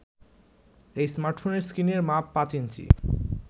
এই স্মার্টফোনের স্ক্রিনের মাপ পাঁচ ইঞ্চি